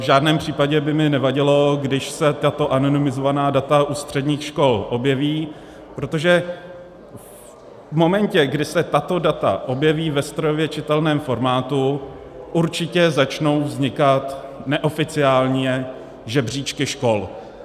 V žádném případě by mi nevadilo, když se tato anonymizovaná data u středních škol objeví, protože v momentě, kdy se tato data objeví ve strojově čitelném formátu, určitě začnou vznikat neoficiálně žebříčky škol.